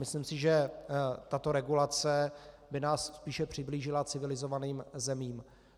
Myslím si, že tato regulace by nás spíše přiblížila civilizovaným zemím.